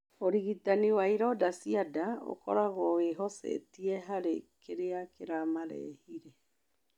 Ũrigitani wa ironda cia nda ũkoragwo wĩhocetie harĩ kĩrĩa kĩramarehire.